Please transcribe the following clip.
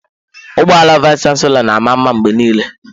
Ụgbọ ala vayis chansilọ na-ama mma mgbe niile.